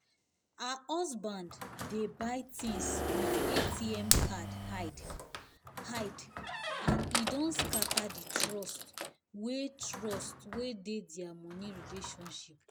her husband dey buy things with atm card hide hide and e don scatter the trust wey trust wey dey their money relationship."